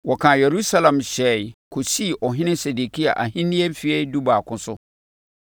Wɔkaa Yerusalem hyɛɛ kɔsii ɔhene Sedekia ahennie no mfeɛ dubaako so.